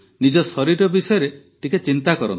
ନିଜ ଶରୀର ବିଷୟରେ ଟିକିଏ ଚିନ୍ତା କରନ୍ତୁ